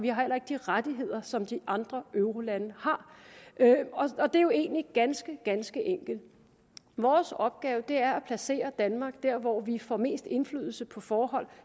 rettigheder som de andre eurolande har det er jo egentlig ganske ganske enkelt vores opgave er at placere danmark der hvor vi får mest indflydelse på forhold